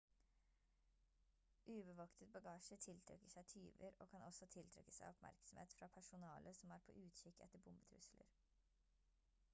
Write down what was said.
ubevoktet bagasje tiltrekker seg tyver og kan også tiltrekke seg oppmerksomhet fra personale som er på utkikk etter bombetrusler